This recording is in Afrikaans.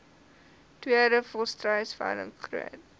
tweede volstruisveiling groot